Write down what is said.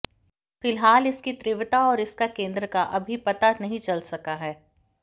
फिलहाल इसकी तीव्रता और इसका केंद्र का अभी पता नहीं चल सका है